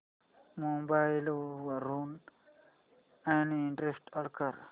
mobile वरून uninstall कर